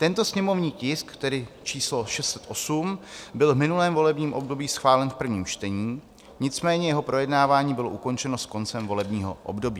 Tento sněmovní tisk, tedy číslo 608, byl v minulém volebním období schválen v prvním čtení, nicméně jeho projednávání bylo ukončeno s koncem volebního období.